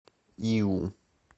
иу